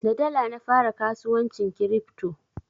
Da dala na fara kasuwancin kiripto.